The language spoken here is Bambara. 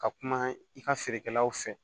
Ka kuma i ka feerekɛlaw fɛ